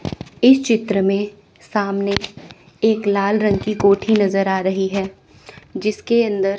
इस चित्र में सामने एक लाल रंग की कोठी नजर आ रही है जिसके अंदर--